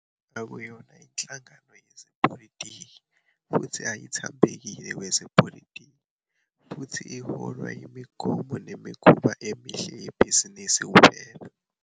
AKUYONA inhlangano yezepolitiki futhi ayithambekeli kwezepolitiki futhi iholwa yimigomo nemikhuba emihle yebhizinisi KUPHELA.